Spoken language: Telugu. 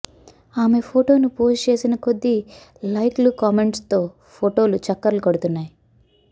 ఆమె ఫోటోను పోస్ట్ చేసిన కొద్దీ లైకులు కామెంట్స్తో ఫోటోలు చక్కర్లు కొడుతున్నాయి